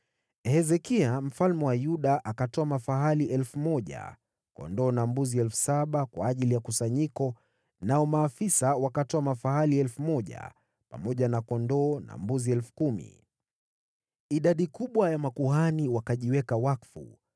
Hezekia, mfalme wa Yuda akatoa mafahali 1,000, kondoo na mbuzi 7,000 kwa ajili ya kusanyiko, nao maafisa wakatoa mafahali 1,000 pamoja na kondoo na mbuzi 10,000. Idadi kubwa ya makuhani wakajiweka wakfu.